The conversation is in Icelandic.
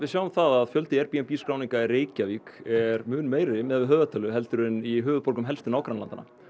sjáum það að fjöldi Airbnb skráninga í Reykjavík er mun meiri miðað við höfðatölu heldur en í höfuðborgum helstu nágrannalandanna